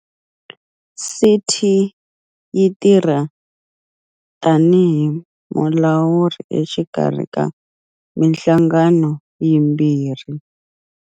CT yi tirha tanihi mulawuri exikarhi ka mihlangano yimbirhi.